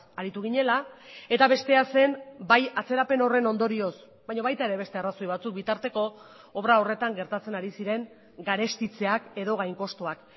aritu ginela eta bestea zen bai atzerapen horren ondorioz baina baita ere beste arrazoi batzuk bitarteko obra horretan gertatzen ari ziren garestitzeak edo gainkostuak